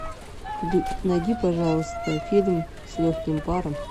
найди пожалуйста фильм с легким паром